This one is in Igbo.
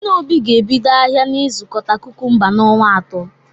Nne Obi ga-ebido ahịa nzụkọta kukumba n"onwa atọ